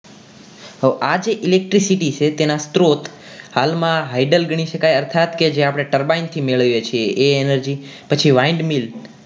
તો આજે Electricity છે એના સ્ત્રોત હાલમાં hydol ગણી શકાય અર્થાત કે જે આપણે turbine થી મેળવીએ છીએ એ energy પછી wide mil